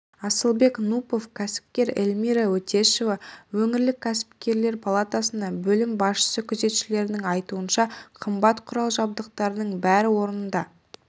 асылбек нупов кәсіпкер эльмира өтешева өңірлік кәсіпкерлер палатасының бөлім басшысы күзетшілердің айтуынша қымбат құрал-жабдықтардың бәрі орнында